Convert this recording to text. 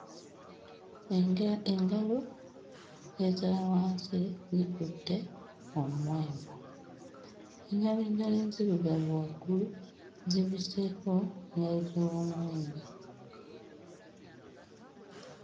Endya engalo eza wansi zikutte omuwemba engalo endala enzirugavu waggulu zibiseeko engalo ez'omuwemba.